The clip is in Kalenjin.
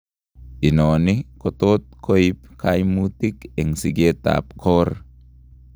Inoni kotot koib kaimutik eng' sikeet ab koor